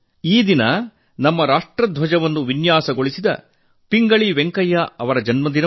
ಈ ದಿನ ನಮ್ಮ ರಾಷ್ಟ್ರಧ್ವಜ ವಿನ್ಯಾಸಗೊಳಿಸಿದ ಪಿಂಗಳಿ ವೆಂಕಯ್ಯ ಜಿ ಅವರ ಜನ್ಮದಿನ